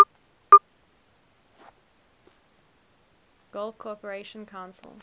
gulf cooperation council